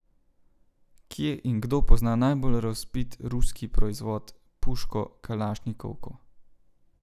Kje in kdo pozna najbolj razvpit ruski proizvod, puško kalašnikovko?